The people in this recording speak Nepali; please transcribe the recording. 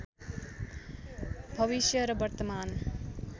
भविष्य र वर्तमान